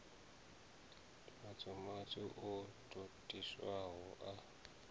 matswu matswu o totiwaho a